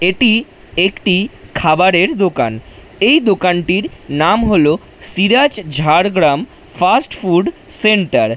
এটি একটি খাবারের দোকান এই দোকানটির নাম হলো সিরাজ ঝাড়গ্রাম ফাস্টফুড সেন্টার ।